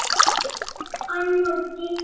Ólöf, Anna og Gígja.